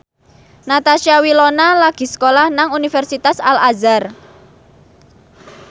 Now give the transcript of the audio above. Natasha Wilona lagi sekolah nang Universitas Al Azhar